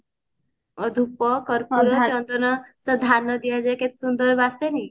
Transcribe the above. ଧୂପ କର୍ପୁର ଚନ୍ଦନ ସେ ଧାନ ଦିଆଯାଏ କେତେ ସୁନ୍ଦର ବାସେନି